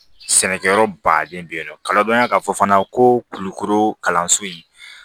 Sɛnɛkɛyɔrɔ baden be yen nɔ kadɔ ya ka fɔ fana ko kulukoro kalanso in